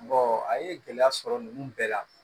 a ye gɛlɛya sɔrɔ ninnu bɛɛ la